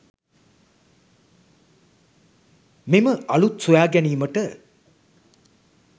මෙම අලුත් සොයා ගැනීමට